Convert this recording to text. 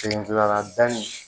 Fini gilan la danni